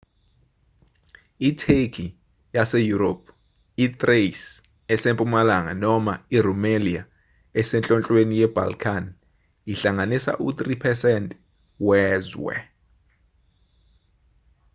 itheki yaseyurophu i-thrace esempumalanga noma i-rumelia esenhlonhlweni ye-balkan ihlanganisa u-3% wezwe